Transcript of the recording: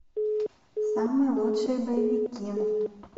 самые лучшие боевики